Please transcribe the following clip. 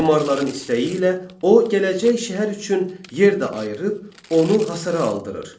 Memarların istəyi ilə o gələcək şəhər üçün yer də ayırıb onu hasara aldırır.